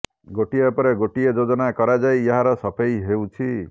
ଗୋଟିଏ ପରେ ଗୋଟିଏ ଯୋଜନା କରାଯାଇ ଏହାର ସଫେଇ ହେଉଛି